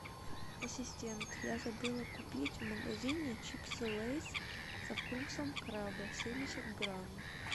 ассистент я забыла купить в магазине чипсы лейс со вкусом краба семьдесят грамм